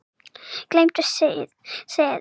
Gleymdu þessu